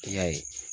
I y'a ye